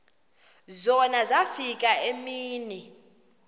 zona zafika iimini